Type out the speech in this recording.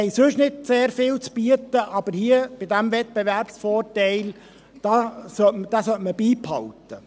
Wir haben sonst nicht viel zu bieten, aber diesen Wettbewerbsvorteil hier sollte man beibehalten.